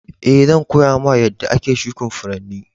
Eh, zan koya ma yadda ake shukin Furanni.